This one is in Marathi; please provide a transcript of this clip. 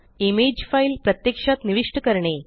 इमेज फाइल प्रत्यक्षात निविष्ट करणे